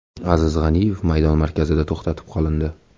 Aziz G‘aniyev maydon markazida to‘xtatib qolindi.